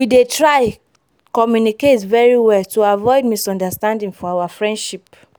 we dey try communicate very well to avoid misunderstanding for our friendship